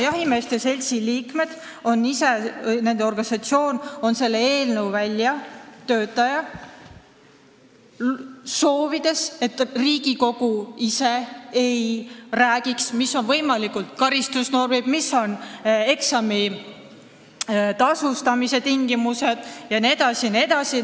Jahimeeste seltsi liikmed ise, nende organisatsioon on selle eelnõu väljatöötaja, soovides, et mitte Riigikogu ei ütleks, millised on võimalikud karistusnormid, millised on eksami eest tasumise tingimused jne.